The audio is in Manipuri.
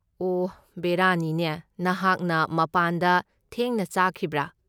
ꯑꯣꯍ ꯕꯦꯔꯥꯅꯤꯅꯦ, ꯅꯍꯥꯛꯅ ꯃꯄꯥꯟꯗ ꯊꯦꯡꯅ ꯆꯥꯈꯤꯕ꯭ꯔꯥ?